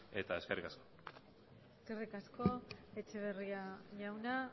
eskerrik asko eskerrik asko etxeberria jauna